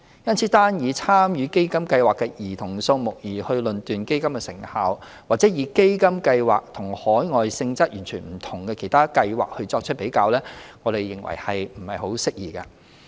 因此，單以參與基金計劃的兒童數目而論斷基金的成效，或以基金計劃與海外性質完全不同的其他計劃作直接比較，我們認為實不適宜。